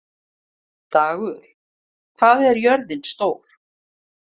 Dagur, hvað er jörðin stór?